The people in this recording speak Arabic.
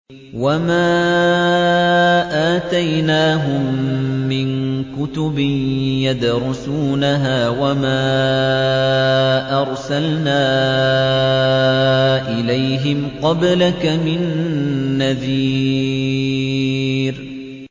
وَمَا آتَيْنَاهُم مِّن كُتُبٍ يَدْرُسُونَهَا ۖ وَمَا أَرْسَلْنَا إِلَيْهِمْ قَبْلَكَ مِن نَّذِيرٍ